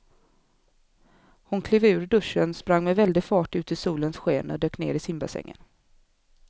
Hon klev ur duschen, sprang med väldig fart ut i solens sken och dök ner i simbassängen.